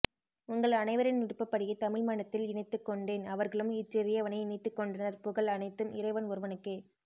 உங்கள் அனைவரின் விருப்பப்படியே தமிழ் மணத்தில் இணைத்துக்கொண்டேன் அவர்களும் இச்சிறியவனை இணைத்துக் கொண்டனர் புகழ் அனைத்தும் இறைவன் ஒருவனுக்கே